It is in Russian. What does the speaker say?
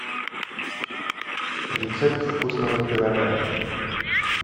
рецепт вкусного пирога